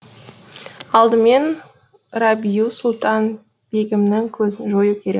алдымен рабиу сұлтан бегімнің көзін жою керек